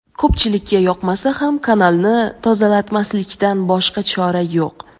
Ko‘pchilikka yoqmasa ham kanalni tozalatmaslikdan boshqa chora yo‘q.